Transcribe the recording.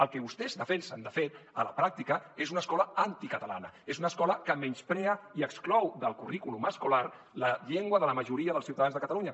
el que vostès defensen de fet a la pràctica és una escola anticatalana és una escola que menysprea i exclou del currículum escolar la llengua de la majoria dels ciutadans de catalunya